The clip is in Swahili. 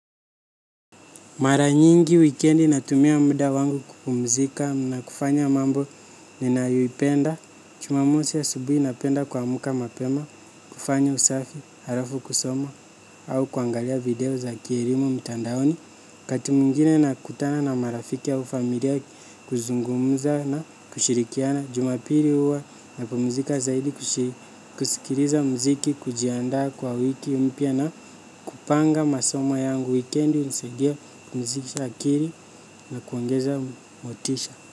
Mara nyingi wikendi natumia muda wangu kupumzika na kufanya mambo ninayoipenda, jumamosi asubuhi napenda kuamka mapema, kufanya usafi, halafu kusoma au kuangalia video za kielimu mtandaoni. Wakati mwingine nakutana na marafiki au familia kuzungumza na kushirikiana. Jumapili huwa napumzika zaidi kusikiliza muziki kujiandaa kwa wiki mpya na kupanga masomo yangu wikendi hunisaidia kupumzisha akili na kuongeza motisha.